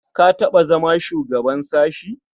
Ka taɓa zama shugaban sashe?